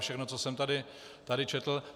Všechno, co jsem tady četl.